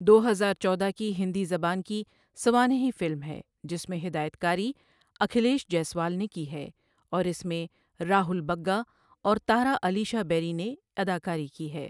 دو ہزار چودہ کی ہندی زبان کی سوانحی فلم ہے جس کی ہدایت کاری اکھلیش جیسوال نے کی ہے، اور اس میں راہول بگا اور تارا علیشا بیری نے اداکاری کی ہے۔